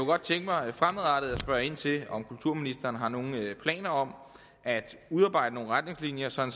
godt tænke mig fremadrettet at spørge ind til om kulturministeren har nogen planer om at udarbejde nogle retningslinjer sådan